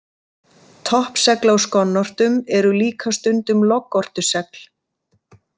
Toppsegl á skonnortum eru líka stundum loggortusegl.